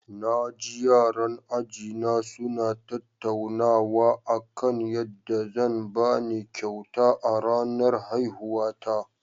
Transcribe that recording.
Na ji yaran ajina suna tattaunawa kan yadda zan ba ni kyauta a ranar haihuwata.